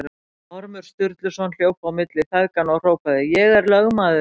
Ormur Sturluson hljóp á milli feðganna og hrópaði: Ég er lögmaður!